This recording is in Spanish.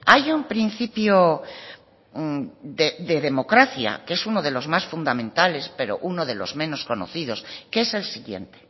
hay un principio de democracia que es uno de los más fundamentales pero uno de los menos conocidos que es el siguiente